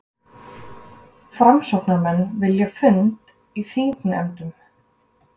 Framsóknarmenn vilja fund í þingnefndum